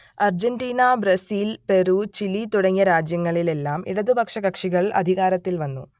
Argentina Brazil Peru Chile തുടങ്ങിയ രാജ്യങ്ങളിൽ എല്ലാം ഇടതുപക്ഷ കക്ഷികൾ അധികാരത്തിൽ വന്നു